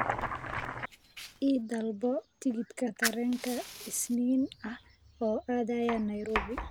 I dalbo tigidh tareen isniin ah oo aadaya nairobi